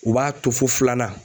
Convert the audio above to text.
U b'a to fo filanan